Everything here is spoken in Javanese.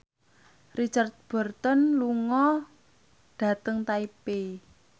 Richard Burton lunga dhateng Taipei